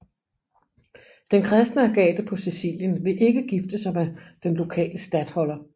Den kristne Agathe på Sicilien vil ikke gifte sig med den lokale statholder